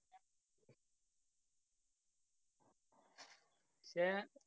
ഏ